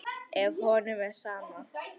Ef honum er sama.